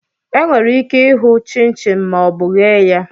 Enwere ike hụ chinchin ma ọ bụ eghe ya